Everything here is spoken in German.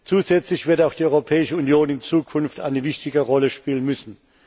Zusätzlich wird auch die Europäische Union in Zukunft eine wichtige Rolle spielen müssen.